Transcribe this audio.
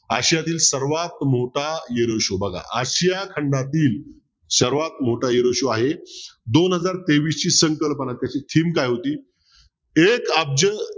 आशियातील सर्वात मोठा बघा आशिया खंडातील सर्वात मोठा आहे दोन हजार तेवीसची संकल्पना त्याची theme काय होती एक अब्ज